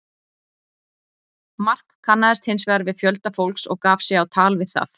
Mark kannaðist hins vegar við fjölda fólks og gaf sig á tal við það.